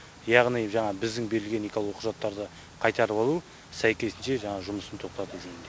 яғни жаңағы біздің берілген экологиялық құжаттарды қайтарып алу сәйкесінше жаңағы жұмысын тоқтату жөнінде